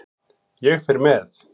Ég fer með